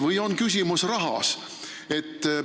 Või on küsimus rahas?